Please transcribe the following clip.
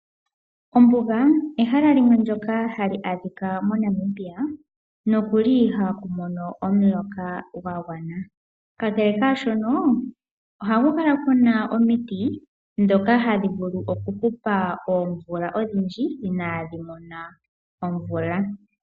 Ombuga ehala limwe lyoka hali adhika mo Namibia nokuli ihaku mono omuloka gwa gwana. Kakele kaashono, ohaku kala ku na omiti ndhoka hadhi vulu okuhupa oomvula odhindji inaadhi mona omvula.